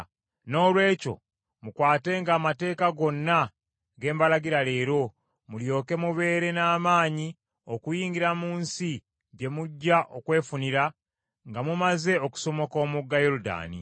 Noolwekyo mukwatenga amateeka gonna ge mbalagira leero, mulyoke mubeere n’amaanyi okuyingira mu nsi gye mujja okwefunira, nga mumaze okusomoka omugga Yoludaani,